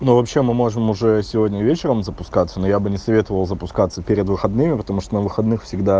ну вообще мы можем уже сегодня вечером запускаться но я бы не советовал запускаться перед выходными потому что на выходных всегда